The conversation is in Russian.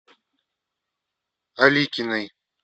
аликиной